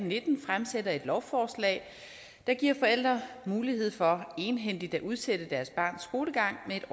nitten fremsætter et lovforslag der giver forældre mulighed for egenhændigt at udsætte deres barns skolegang med